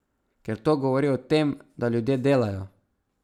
Ker to govori o tem, da ljudje delajo.